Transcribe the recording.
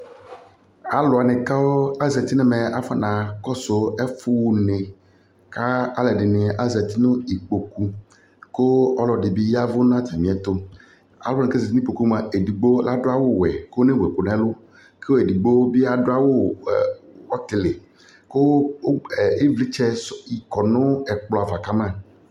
Alʋ wanɩ kʋ azati nʋ ɛmɛ, akɔnakɔsʋ ɛfʋɣa une kʋ alʋɛdɩnɩ azati nʋ nʋ ikpoku kʋ ɔlɔdɩ bɩ ya ɛvʋ nʋ atamɩɛtʋ Alʋ wanɩɩ kʋ azati nʋ ikpoku yɛ mʋa, edigbo adʋ awʋwɛ kʋ ɔnewu ɛkʋ nʋ ǝlʋ kʋ edigbo bɩ adʋ awʋ ɛ ɔtɩlɩ kʋ ʋgb ɛ ɩvlɩtsɛ sʋ kɔ nʋ ɛkplɔ ava ka ma